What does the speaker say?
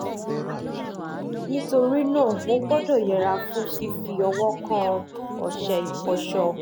nítorí náà o gbọ́dọ̀ yẹra fún fífi ọwọ́ kan ọṣẹ ìfọṣọ